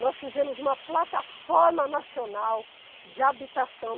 Nós fizemos uma plataforma nacional de habitação.